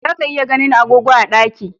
Za ka iya ganin agogo a ɗaki